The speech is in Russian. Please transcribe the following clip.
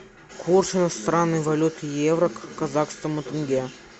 курс иностранной валюты евро к казахскому тенге